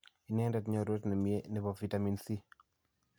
Ineendet nyorwet ne myee ne po vitamini C.